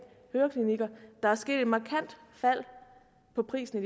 høreklinikker der er sket et markant fald i prisen